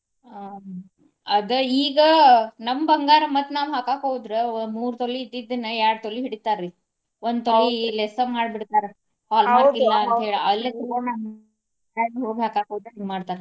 ಆಹ್ ಅದ ಈಗ ನಮ್ಮ ಬಂಗಾರ ಮತ್ತ ನಾವ ಹಾಕಾಕ ಹೋದ್ರ ವ ಮೂರ ತೊಲಿ ಇದ್ದದ್ದನ್ನ ಎರಡು ತೊಲಿ ಹಿಡಿತಾರಿ. ಒಂದ ತೊಲಿ less ಮಾಡಿ ಬಿಡ್ತಾರ. hallmark ಇಲ್ಲಾ ಅಂತ ಹೇಳಿ ಅಲ್ಲಿ ಹಿಂಗ ಮಾಡ್ತಾರ.